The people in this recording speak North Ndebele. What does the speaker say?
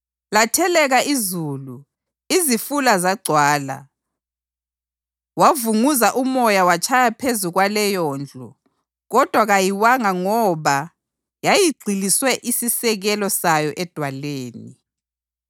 Latheleka izulu, izifula zagcwala, wavunguza umoya watshaya phezu kwaleyondlu; kodwa kayiwanga ngoba yayigxiliswe isisekelo sayo edwaleni.